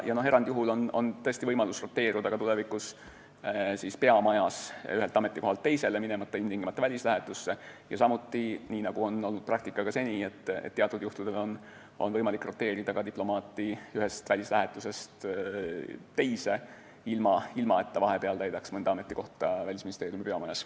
Erandjuhul on tõesti võimalus roteeruda tulevikus peamajas ühelt ametikohalt teisele, minemata ilmtingimata välislähetusse, ja samuti, nii nagu ka senises praktikas, teatud juhtudel on võimalik roteerida diplomaati ühest välislähetusest teise, ilma et ta vahepeal täidaks mõnda ametikohta Välisministeeriumi peamajas.